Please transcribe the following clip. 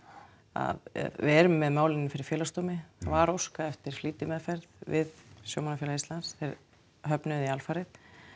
að við erum með málin fyrir Félagsdómi var óskað eftir flýtimeðferð við Sjómannafélag Íslands þeir höfnuðu því alfarið